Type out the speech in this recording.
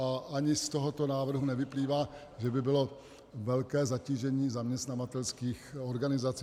A ani z tohoto návrhu nevyplývá, že by bylo velké zatížení zaměstnavatelských organizací.